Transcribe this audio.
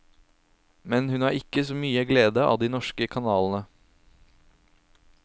Men hun har ikke så mye glede av de norske kanalene.